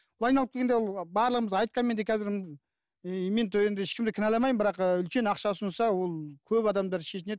былай айналып келгенде ол барлығымыз айтқанмен де қазір і мен енді ешкімді кінәламаймын бірақ үлкен ақша ұсынса ол көп адамдар шешінеді